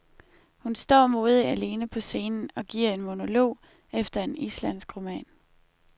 Hun står modigt alene på scenen og giver en monolog efter en islandsk roman.